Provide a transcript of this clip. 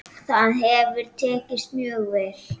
Það hefur tekist mjög vel.